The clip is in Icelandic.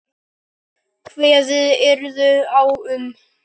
Kveðið yrði á um